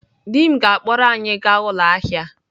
Di m ga-akpọrọ anyị gaa ụlọ ahịa.